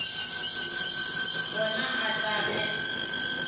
gona ge a tla be